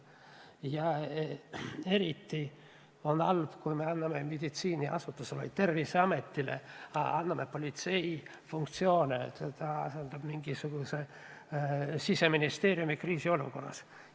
Ja eriti halb on see, kui me anname meditsiiniasutusele, Terviseametile politsei funktsioone, et ta asendaks Siseministeeriumi kriisiolukorras.